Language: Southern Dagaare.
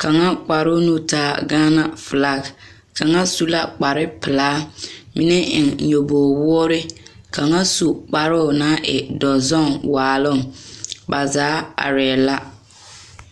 kaŋa kparoo nu taa ka gaana felaa kaŋa su la kpar pelaa mine eŋ tookpa woore kaŋa su kparoo naŋ e dɔzɔŋ waaloŋ ba zaa arɛɛ la